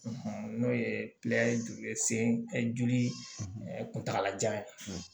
n'o ye joli kuntagalajan ye